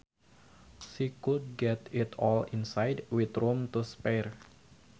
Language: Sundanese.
She could get it all inside with room to spare